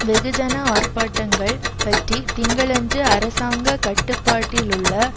வெகுஜன ஆர்ப்பாட்டங்கள் பட்டி திங்களன்று அரசாங்க கட்டுப்பாட்டிலுள்ள